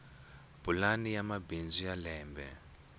pulani ya bindzu ya lembe